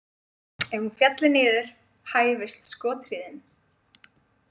Ef hún félli niður hæfist skothríðin.